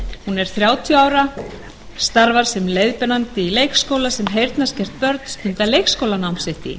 hún er þrjátíu ára og starfar sem leiðbeinandi í leikskóla sem heyrnarskert börn stunda leikskólanám sitt í